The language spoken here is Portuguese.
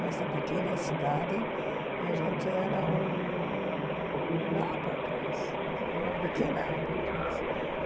Nessa pequena cidade, a gente era um upper class entendeu, uma pequena upper class.